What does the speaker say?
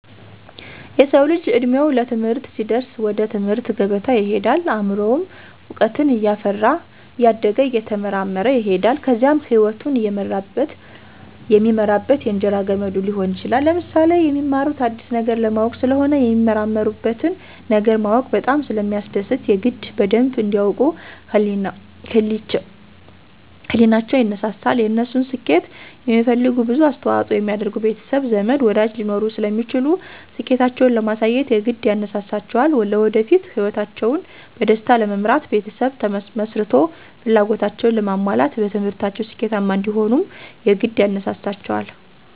የሰዉ ልጅ እድሜዉ ለትምህርት ሲደርስ ወደ ትምህርት ገበታ ይሄዳል አምሮዉም እዉቀትን እያፈራ እያደገ እየተመራመረ ይሄዳል ከዚያም ህይወቱን የሚመራበት የእንጀራ ገመዱ ሊሆን ይችላል። ለምሳሌ፦ የሚማሩት አዲስ ነገር ለማወቅ ስለሆነ የሚመራመሩበትን ነገር ማወቅ በጣም ስለሚያስደስት የግድ በደንብ እንዲ ያዉቁ ህሊቸዉ ይነሳሳል፣ የነሱን ስኬት የሚፈልጉ ብዙ አስተዋፅኦ የሚያደርጉ ቤተሰብ፣ ዘመድ፣ ወዳጅ ሊኖሩ ስለሚችሉ ስኬታቸዉን ለማሳየት የግድ ያነሳሳቸዋልለወደፊት ህይወታቸዉን በደስታ ለመምራት ቤተሰብ መስርቶ ፍላጎታቸዉን ለማሟላት በትምህርታቸዉ ስኬታማ እንዲሆኑም የግድ ያነሳሳቸዋል።